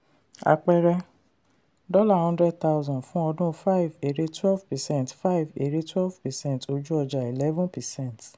àpẹẹrẹ: dollar hundred thousand fún ọdún five èrè twelve percent five èrè twelve percent ojú-ọjà eleven percent.